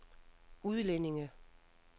udlændinge